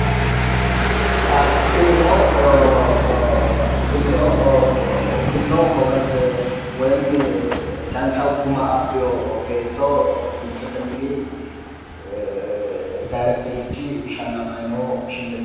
tinino oo o tini oo o gowaze woyimi dancha guma abbino beetto timirtete mini ee darekiterichi shallamayi no shillimmaate leellishshanno.